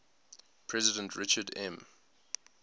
president richard m